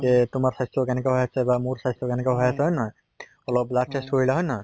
যে তোমাৰ স্বাস্থ্য় কেনেকুৱা হৈ আছে বা মোৰ স্বাস্থ্য় কেনেকুৱা হৈ আছে, হয় নে নহয়? অলপ blood test কৰিলা হয় নে নহয়?